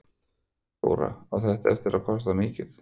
Þóra: Á þetta eftir að kosta mikið?